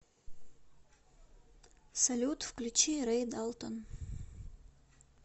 салют включи рэй далтон